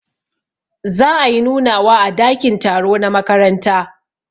Za ayi nunawa a dakin taro na makaranta.